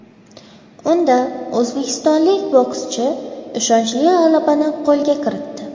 Unda o‘zbekistonlik bokschi ishonchli g‘alabani qo‘lga kiritdi.